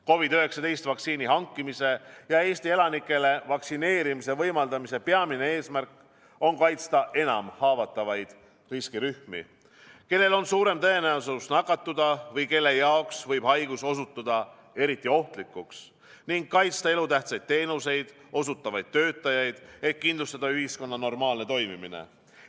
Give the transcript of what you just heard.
COVID-19 vaktsiini hankimise ja Eesti elanikele vaktsineerimise võimaldamise peamine eesmärk on kaitsta enam haavatavaid riskirühmi, kellel on suurem tõenäosus nakatuda või kelle jaoks võib haigus osutuda eriti ohtlikuks, ning kaitsta elutähtsaid teenuseid osutavaid töötajaid, et kindlustada ühiskonna normaalne toimimine.